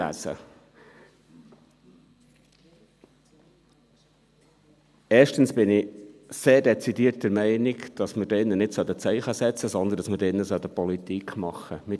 Erstens bin ich sehr dezidiert der Meinung, dass wir hier im Saal nicht Zeichen setzen, sondern dass wir hier Politik machen sollten.